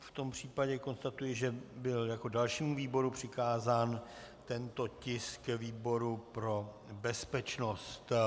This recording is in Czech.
V tom případě konstatuji, že byl jako dalšímu výboru přikázán tento tisk výboru pro bezpečnost.